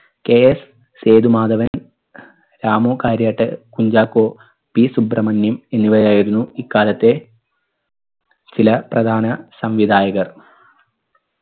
KS Sethumadhavan Ramu കാര്യാട്ടർ Kunchacko P Subramaniam എന്നിവരായിരുന്നു ഇക്കാലത്തെ ചില പ്രധാന സംവിധായകർ